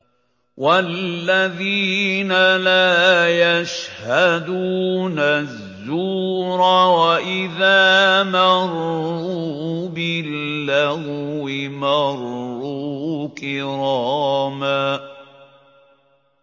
وَالَّذِينَ لَا يَشْهَدُونَ الزُّورَ وَإِذَا مَرُّوا بِاللَّغْوِ مَرُّوا كِرَامًا